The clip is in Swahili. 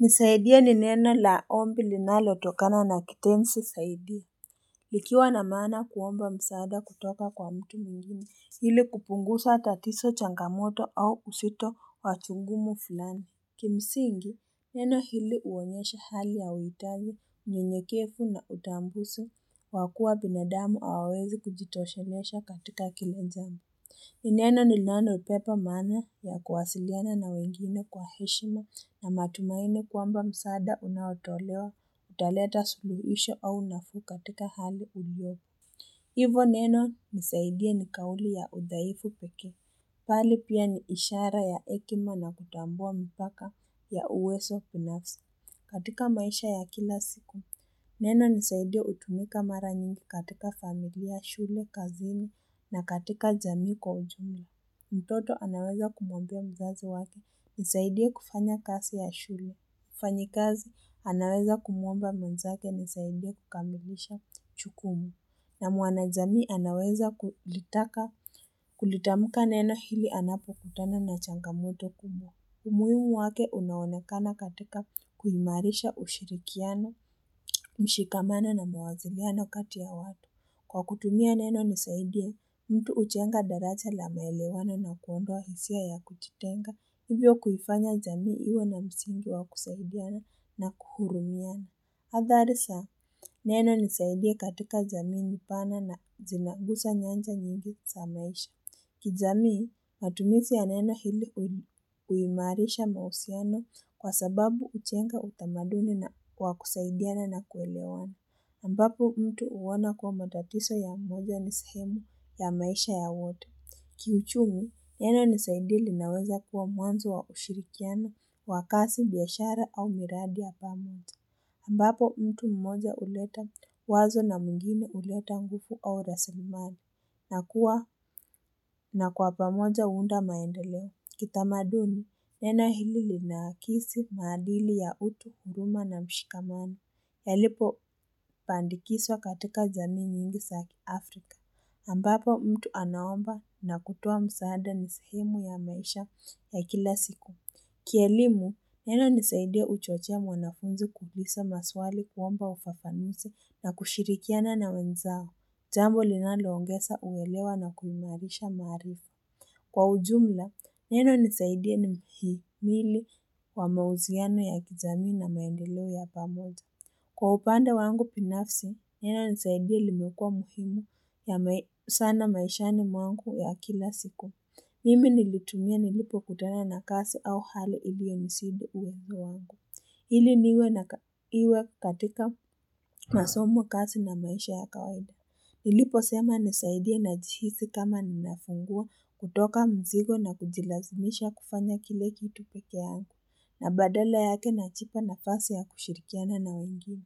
Nisaidie ni neno la ombi linalotokana na kitenzi saidia likiwa na maana kuomba msaada kutoka kwa mtu mwingine ili kupunguza tatizo changamoto au uzito wa chugumu fulani. Kimsingi neno hili huonyesha hali ya wuitavu unyenyekevu na utambuso kwa kuwa binadamu hawawezi kujitoshelesha katika kiwanjani Neno ni lano pepa mana ya kuwasiliana na wengine kwa heshima na matumaine kuamba msada unawatolewa utaleta suluhisho au nafuu katika hali ulyo. Hivo neno nisaidia ni kauli ya udaifu piki. Pali pia ni ishara ya ekima na kutambua mpaka ya uweso punafsi katika maisha ya kila siku. Neno nisaidia utumika mara nyingi katika familia, shule, kazini na katika jamii kwa ujumi. Mtoto anaweza kumambia mzazi waki, nisaidia kufanya kasi ya shule, kufanyi kazi, anaweza kumomba mzake, nisaidia kukambihisha chukumu. Na muana jamii anaweza kulitaka, kulitamuka neno hili anapo kutana na changamoto kumbo. Umuhimu wake unaonakana katika kuimarisha ushirikiano, mshikamana na mawazigiana kati ya watu. Kwa kutumia neno nisaidia, mtu uchenga darasa la maelewana na kuondwa hisia ya kutitenga. Hiyo kuyifanya jamii iwe na msingi wa kusaidiana na kuhurumiana. Hadhari neno nisaidia katika jamii njipana na zinangusa nyanja nyingi samaisha. Kizami, matumisi ya neno hili uimarisha mausiano kwa sababu uchenga utamaduni wa kusaidiana na kuelewana. Ambapo mtu uwona kuwa matatiso ya mmoja nisahemu ya maisha ya wote. Kiuchungu, neno nisaidili naweza kuwa mwanzo wa ushirikiano, wakasi, biashara au miradi ya pamutu. Nambapo mtu mmoja uleta wazo na mgini uleta nguku au rasalimani. Nakua na kwa pamoja uunda maendeleo, kitamaduni neno hili linaakisi madili ya utu, nduma na mshikamani. Elipo pandikiswa katika jamii nyingi sa Afrika, ambapo mtu anaomba na kutuwa msaada ni sahimu ya maisha ya kila siku. Kielimu nena nisaidia uchochea mwanafunzi kubisa maswali kuomba ufafanuse na kushirikiana na wenzao. Jambo linaloongesa uwelewa na kuimarisha maarifa. Kwa ujumla, neno nisaidia ni mihili wa mauziano ya kijami na maendolo ya pamoja. Kwa upanda wangu binafsi, neno nisaidia limekua muhimu ya sana maishani mwangu ya kila siku. Mimi nilitumia nilipo kutana na kasi au hali iliwe msibu uwe wangu. Hili niwe katika masomo kasi na maisha ya kawada. Nilipo sema nisaidia na jihisi kama ninafungua kutoka mzigo na kujilazimisha kufanya kile kitu peke ya angu, na badala yake na jipa nafasi ya kushirikiana na wengine.